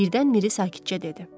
Birdən Miri sakitcə dedi.